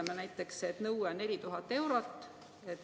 Ütleme näiteks, et nõue on 4000 eurot.